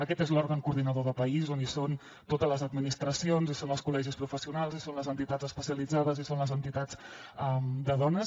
aquest és l’òrgan coordinador de país on hi són totes les administracions hi són els col·legis professionals hi són les entitats especialitzades hi són les entitats de dones